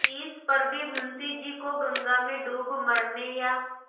तिस पर भी मुंशी जी को गंगा में डूब मरने या